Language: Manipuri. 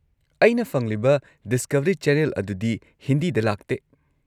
ꯑꯩꯅ ꯐꯪꯂꯤꯕ ꯗꯤꯁꯀꯚꯔꯤ ꯆꯦꯅꯦꯜ ꯑꯗꯨꯗꯤ ꯍꯤꯟꯗꯤꯗ ꯂꯥꯛꯇꯦ꯫